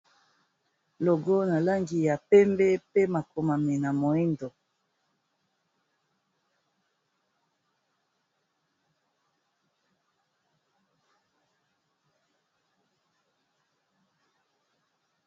Logo na langi ya pembe pe makomami na moyindo